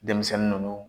Denmisɛnnin ninnu